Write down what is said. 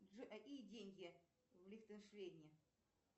джой какие деньги в лихтенштейне